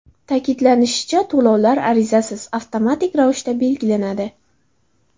Ta’kidlanishicha, to‘lovlar arizasiz, avtomatik ravishda belgilanadi.